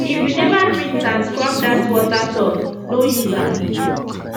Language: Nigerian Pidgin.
if u never rinse and scrub dat water tub no use am